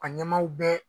A ɲɛmaw bɛɛ